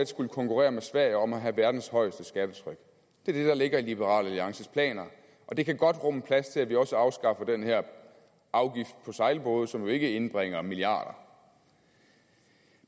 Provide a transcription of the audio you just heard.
skulle konkurrere med sverige om at have verdens højeste skattetryk det er det der ligger i liberal alliances planer og det kan godt rumme plads til at vi også afskaffer den her afgift på sejlbåde som jo ikke indbringer milliarder